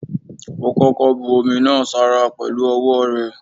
Ó koko bu omi náà sára pẹ̀lu ọwọ́ rẹ̀.